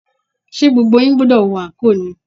Ṣé gbogbo yín gbúdọ̀ wọ anko ni?